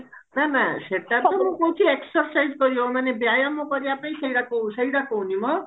ନା ନା ସେଟା ତ ମୁଁ କହୁଛି exercise କରିବ ମାନେ ବ୍ୟାୟାମ କରିବା ପାଇଁ ସେଗୁଡାକ ସେଟା କହୁନି ମ